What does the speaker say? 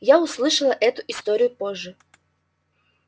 я услышала эту историю позже